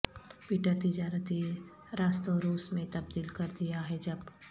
Peter تجارتی راستوں روس میں تبدیل کر دیا ہے جب